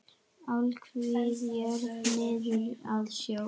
Alhvít jörð niður að sjó.